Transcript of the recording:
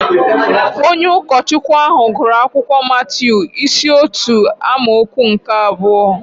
Onye ụkọchukwu ahụ gụrụ akwụkwọ Matiu isi otu amaokwu nke abụọ